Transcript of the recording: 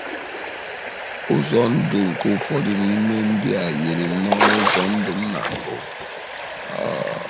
“ Ụzọ ndụ nke ụfọdụ n’ime ndị a yiri nnọọ ụzọ ndụ m na mbụ. um